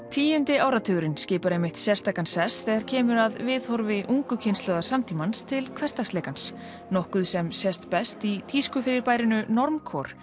tíundi áratugurinn skipar einmitt sérstakan sess þegar kemur að viðhorfi ungu kynslóðar samtímans til hversdagsleikans nokkuð sem sést best í tískufyrirbærinu